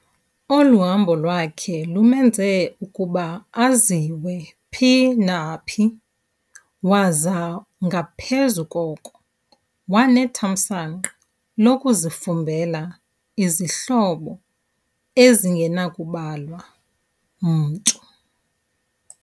Olu hambo lwakhe lumenze ukuba aziwe phi na phi, waza ngaphezu koko wanethamsanqa lokuzifumbela izihlobo ezingenakubalwa mntu.